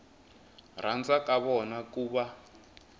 rhandza ka vona ku va